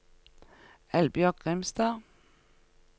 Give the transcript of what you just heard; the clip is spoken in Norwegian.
Eldbjørg Grimstad